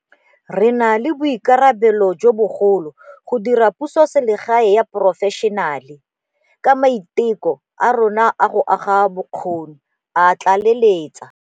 Re na le boikarabelo jo bogolo go dira pusoselegae ya porofešenale, ka maiteko a rona a go aga bokgoni, a tlaleletsa.